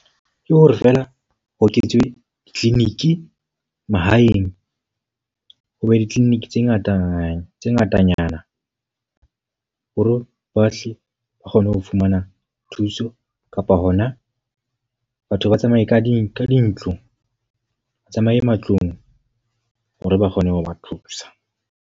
Ke hore feela ho eketswe di-clinic mahaeng. Hoba di-clinic tse ngata tse ngatanyana hore bohle ba kgone ho fumana thuso. Kapa hona batho ba tsamaye ka di ka dintlo. Ba tsamaye matlung hore ba kgone ho ba thusa.